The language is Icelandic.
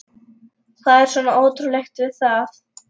Hvað er svona ótrúlegt við það?